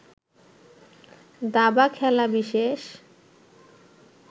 দাবা খেলা বিশেষ